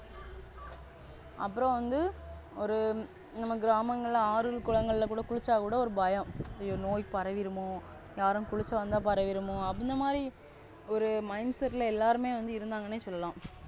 அப்புறம் வந்து ஒரு நம்ம கிராமங்கள், ஆறுகள், குளங்கள்லகூட குளிச்சக்கூட ஒரு பயம் நோய் பரவிடுமோ யாரும் குளிக்கவந்த பரவிடுமோ. அந்த மாரி ஒரு Mindset எல்லாருமே வந்து இருந்தாங்கன்னே சொல்லலம்.